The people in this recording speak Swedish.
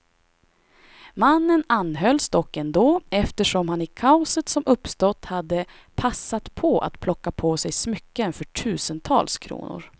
Mannen anhölls dock ändå, eftersom han i kaoset som uppstått hade passat på att plocka på sig smycken för tusentals kronor.